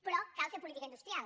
però cal fer política industrial